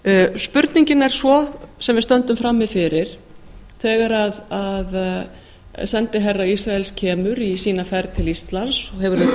spurningin er svo sem við stöndum frammi fyrir þegar sendiherra ísraels kemur í sína ferð til íslands og hefur auðvitað